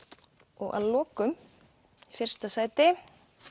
og að lokum í fyrsta sæti